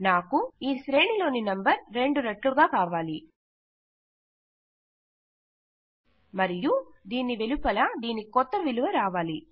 నాకు ఈ శ్రేణి లోని నంబర్ రెండు రెట్లుగా కావాలి మరియు దీని వెలుపల దీని కొత్త విలువ రావాలి